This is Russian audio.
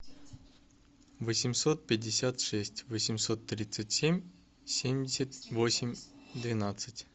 восемьсот пятьдесят шесть восемьсот тридцать семь семьдесят восемь двенадцать